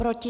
Proti?